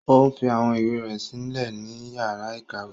O fi awọn ìwé rẹ silẹ ni yàrà ikọwe.